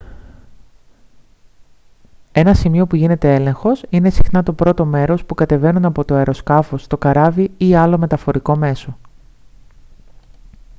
ένα σημείο που γίνεται έλεγχος είναι συχνά το πρώτο μέρος που κατεβαίνουν από το αεροσκάφος το καράβι ή άλλο μεταφορικό μέσο